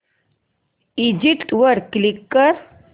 exit वर click कर